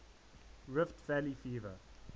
rift valley fever